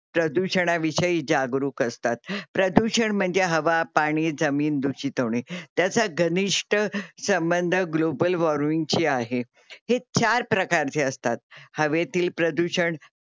प्रदूषणाविषयी जागरूक असतात. प्रदूषण म्हणजे हवा, पाणी, जामीन दुषित होणे. त्याचा घनिष्ट संबंध ग्लोबल वार्मिंग global warming शी आहे. हे चार प्रकारचे असतात. हवेतील प्रदूषण